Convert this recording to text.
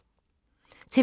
TV 2